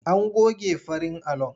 An goge farin alon.